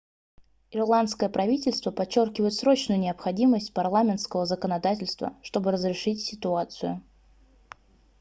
ирландское правительство подчеркивает срочную необходимость парламентского законодательства чтобы разрешить ситуацию